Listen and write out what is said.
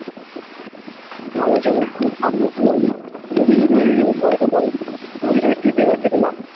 মাল ও চলে যেতে যেতে পয়সা পাই আমি দেখছি বেকার খেটে লাভ